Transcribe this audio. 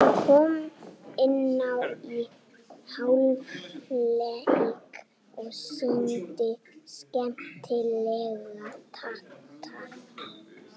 Hann kom inná í hálfleik og sýndi skemmtilega takta.